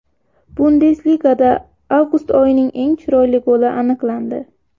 Bundesligada avgust oyining eng chiroyli goli aniqlandi .